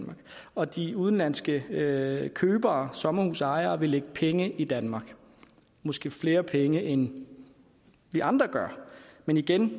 og de udenlandske købere sommerhusejere vil lægge penge i danmark måske flere penge end vi andre gør men igen